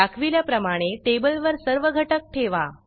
दाखविल्याप्रमाणे टेबल वर सर्व घटक ठेवा